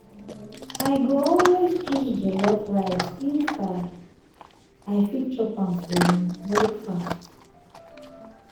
i go always choose jollof rice if um i fit chop am for um breakfast.